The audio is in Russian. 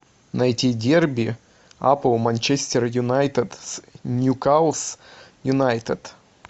найти дерби апл манчестер юнайтед с ньюкасл юнайтед